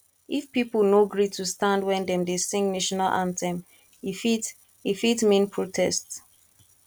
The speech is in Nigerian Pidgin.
if pipo no gree to stand when dem dey sing national anthem e fit e fit mean protest